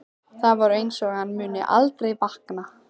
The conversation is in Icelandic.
Það er einsog hann muni aldrei vakna.